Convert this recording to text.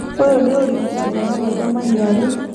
Ũyũ nĩ ũrigitani wa maitho maniaru.